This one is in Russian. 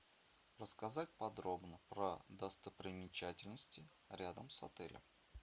рассказать подробно про достопримечательности рядом с отелем